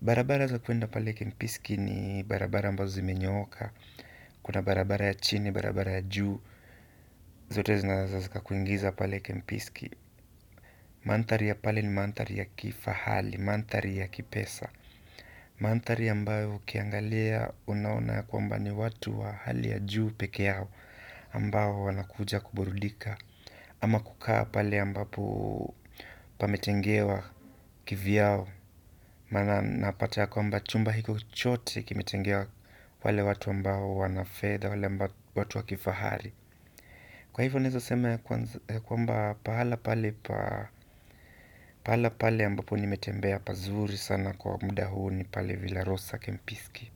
Barabara za kwenda pale Kempiski ni barabara ambazo zimenyooka. Kuna barabara ya chini barabara ya juu zote zinaweza zikakuingiza pale Kempiski. Mandhari ya pale ni mandhari ya kifahari, mandhari ya kipesa mandhari ambayo ukiangalia unaona ya kwamba ni watu wa hali ya juu peke yao ambao wanakuja kuburudika ama kukaa pale ambapo pametengewa kivyao maana napata ya kwamba chumba hiko chote kimetengewa wale watu ambayo wana fedha wale ambao watu wa kifahari. Kwa hivyo ninawezo sema ya kwamba pahala pale ambapo nimetembea pazuri sana kwa muda huu ni pale Vila Rosa Kempiski.